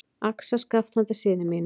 Axarskaft handa syni mínum.